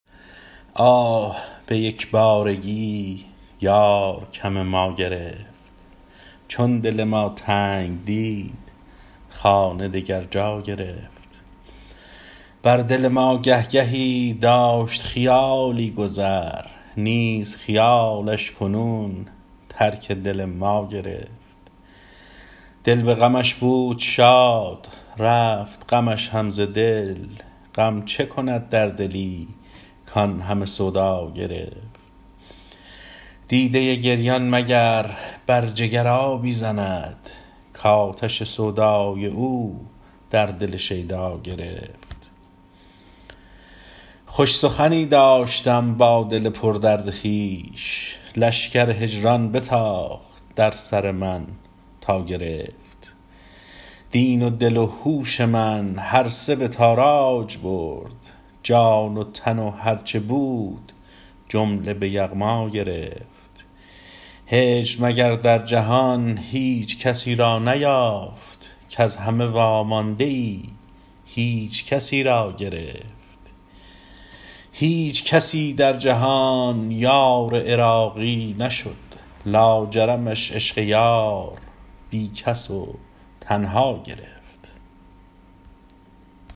آه به یک بارگی یار کم ما گرفت چون دل ما تنگ دید خانه دگر جا گرفت بر دل ما گه گهی داشت خیالی گذر نیز خیالش کنون ترک دل ما گرفت دل به غمش بود شاد رفت غمش هم ز دل غم چه کند در دلی کان همه سودا گرفت دیده گریان مگر بر جگر آبی زند کاتش سودای او در دل شیدا گرفت خوش سخنی داشتم با دل پردرد خویش لشکر هجران بتاخت در سر من تا گرفت دین و دل و هوش من هر سه به تاراج برد جان و تن و هرچه بود جمله به یغما گرفت هجر مگر در جهان هیچ کسی را نیافت کز همه وامانده ای هیچکسی را گرفت هیچ کسی در جهان یار عراقی نشد لاجرمش عشق یار بی کس و تنها گرفت